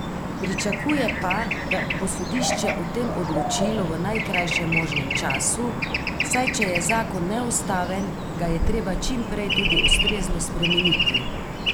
Pričakuje pa, da bo sodišče o tem odločilo v najkrajšem možnem času, saj če je zakon neustaven, ga je treba čim prej tudi ustrezno spremeniti.